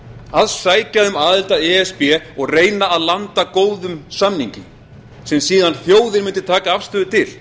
að sækja um aðild að e s b og reyna að landa góðum samningi sem þjóðin mundi síðan taka afstöðu til